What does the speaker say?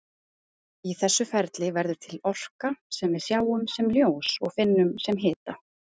Í þessu ferli verður til orka sem við sjáum sem ljós og finnum sem hita.